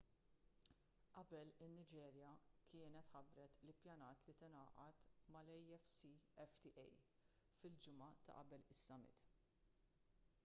qabel in-niġerja kienet ħabbret li ppjanat li tingħaqad mal-afcfta fil-ġimgħa ta' qabel is-summit